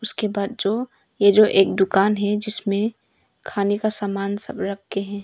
उसके बाद जो ये जो एक दुकान है जिसमें खाने का समान सब रखें हैं।